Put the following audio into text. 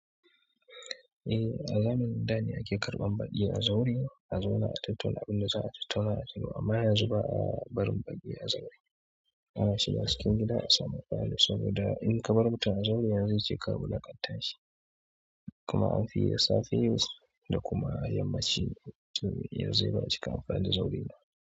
Eh a zamanin dane ake karɓar baƙi a zaure a zauna a tattauna abun da za'a tattauna a cigaba amma yanzu ba'a barin baƙi a zaure ana shiga cikin gida a samu falo saboda in ka bar mutum a zaure yanzu zai ce ka wulaƙanta shi kuma an fiyi da safe yanzu da kuma yammaci to yanzu dai bamu cika amfani da zaure ba.